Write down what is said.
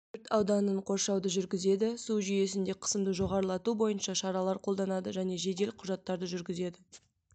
өрт ауданын қоршауды жүргізеді су жүйесінде қысымды жоғарылату бойынша шаралар қолданады және жедел құжаттарды жүргізеді